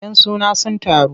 Yan suna sun taru.